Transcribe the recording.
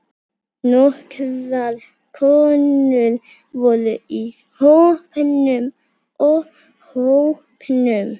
Nokkrar konur voru í hópnum.